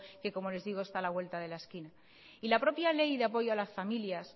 que como les digo está a la vuelta de la esquina la propia ley de apoyo a las familias